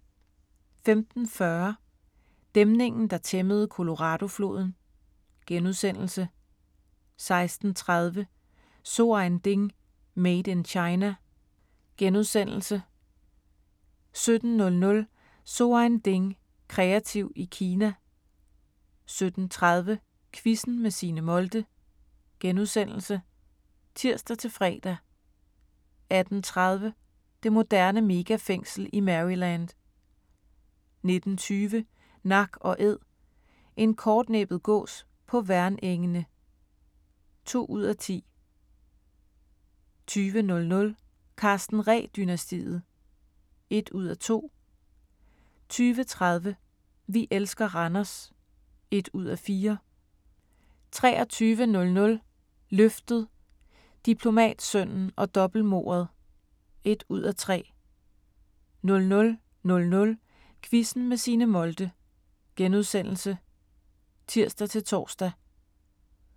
15:40: Dæmningen der tæmmede Coloradofloden * 16:30: So ein Ding: Made in China * 17:00: So ein Ding: Kreativ i Kina 17:30: Quizzen med Signe Molde *(tir-fre) 18:30: Det moderne megafængsel i Maryland 19:20: Nak & Æd – en kortnæbbet gås på Værnengene (2:10) 20:00: Karsten Ree-dynastiet (1:2) 20:30: Vi elsker Randers (1:4) 23:00: Løftet – Diplomatsønnen og dobbeltmordet (1:3) 00:00: Quizzen med Signe Molde *(tir-tor)